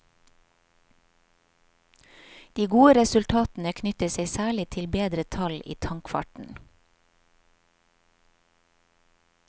De gode resultatene knytter seg særlig til bedre tall i tankfarten.